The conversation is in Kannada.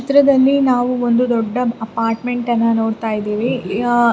ಚಿತ್ರದ್ಲಲಿ ನಾವು ಒಂದು ದೊಡ್ಡ ಅಪರ್ಟ್ಮೆಂಟ್ ಅನ್ನ ನೋಡತಾ ಇದ್ದಿವಿ ಯಾ --